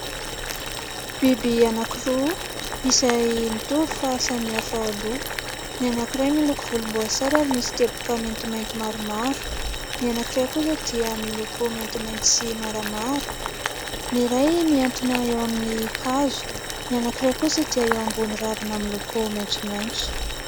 Biby anankiroa izay mitovy fa samihafa loko. Ny anankiray miloko volomboasary ary misy teboteboka maintimainty maromaro ; anankiray kosa dia miloko maintimainty sy maramara. Ny iray mihantona eo amin'ny hazo ; ny anankiray kosa dia eo ambony ravina miloko maitsomaitso.